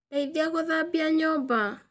Ndeithia gũthambia nyũmba.